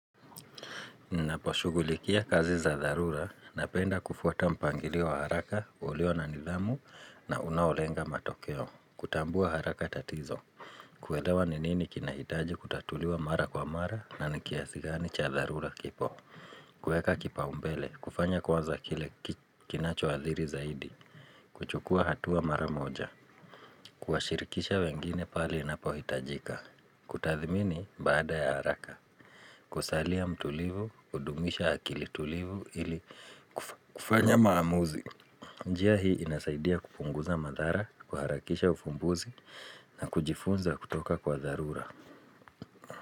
Ninapo shugulikia kazi za tharura na penda kufuata mpangilio wa haraka ulio na nidhamu na unaolenga matokeo. Kutambua haraka tatizo. Kuelewa ninini kinahitaji kutatuliwa mara kwa mara na nikiasigani cha dharura kipo. Kueka kipa umbele, kufanya kwanza kile kinacho athiri zaidi. Kuchukua hatua mara moja. Kuashirikisha wengine pali napo hitajika. Kutathimini baada ya haraka. Kusalia mtulivu, kudumisha akili tulivu ili kufanya maamuzi. Njia hii inasaidia kupunguza madhara, kuharakisha ufumbuzi na kujifunza kutoka kwa dharura.